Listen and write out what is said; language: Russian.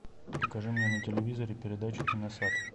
покажи мне на телевизоре передачу киносад